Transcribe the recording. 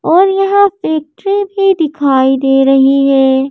और यहां फैक्ट्री दिखाई दे रही है।